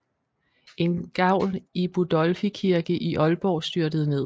En gavl i Budolfi Kirke i Ålborg styrtede ned